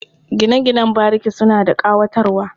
Gine-ginen bariki suna da ƙayatarwa.